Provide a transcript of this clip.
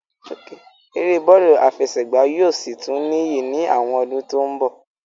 Eré bọ́lù àfẹsẹ̀gbá yóò sì tún níyì ní àwọn ọdún tí ó ń bọ̀